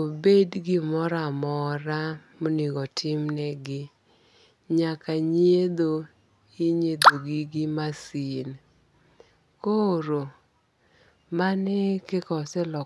obed gimoro amora monegotimnegi nyaka nyiedho inyiedhogi gi masin. Koro mane kaka oselokore..